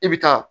I bi taa